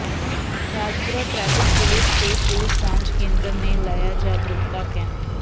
Rajpura traffic police ਤੇ police ਸਾਂਝ ਕੇਂਦਰ ਨੇ ਲਾਇਆ ਜਾਗਰੂਕਤਾ ਕੈਂਪ